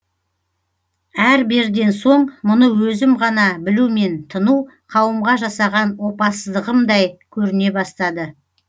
әр берден соң мұны өзім ғана білумен тыну қауымға жасаған опасыздығымдай көріне бастады